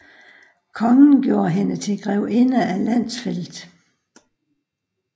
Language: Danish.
Kongen gjorde hende til grevinde af Landsfeld